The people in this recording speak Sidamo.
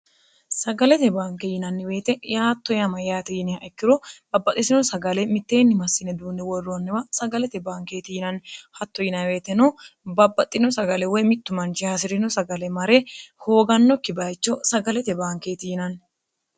sagalete banke yinanniweyite yaatto yama yaate yiniha ikkiro babbaxisino sagale mitteenni massine duunni worroonniwa sagalete baankeeti yinanni hatto yinweeteno babbaxxino sagale woy mittu manchi hasi'rino sagale mare hoogannokki bayicho sagalete baankeeti yinanni